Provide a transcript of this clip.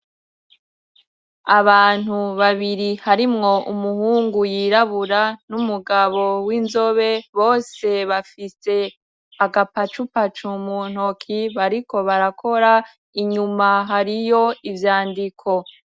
Abantu babiri harimwo umuhungu yirabura numugabo w'inzobe bose bafise agapacupacu mu ntoki bariko barakora inyuma hariyo ivyandiko.